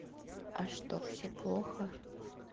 а что все плохо